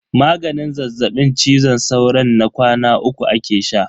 Maganin zazzaɓin cizon sauron na kwana uku ake sha.